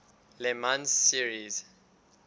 le mans series